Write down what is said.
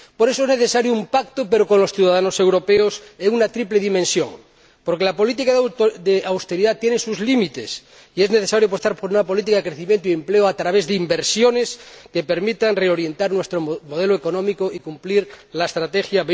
Por eso es necesario un pacto con los ciudadanos europeos en una triple dimensión, porque la política de austeridad tiene sus límites y es necesario apostar por una política de crecimiento y empleo a través de inversiones que permitan reorientar nuestro modelo económico y cumplir la Estrategia